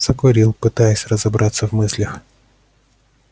закурил пытаясь разобраться в мыслях